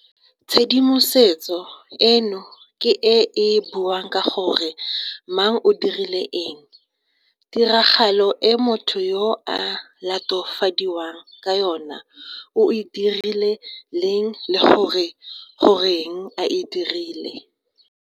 Tshedimosetso eno ke e e buang ka gore mang o dirile eng, tiragalo e motho yo a latofadiwang ka yona o e dirile leng le gore goreng a e dirile.